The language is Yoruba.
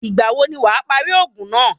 Ìgbà wo ni wàá parí òògùn náà?